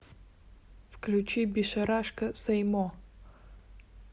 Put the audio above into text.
включи бишарашка сей мо